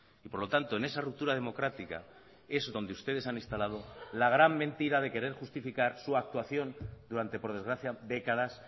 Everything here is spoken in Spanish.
y por lo tanto en esa ruptura democrática es donde ustedes han instalado la gran mentira de querer justificar su actuación durante por desgracia décadas